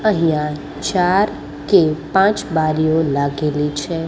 અહિયા ચાર કે પાંચ બારીઓ લાગેલી છે.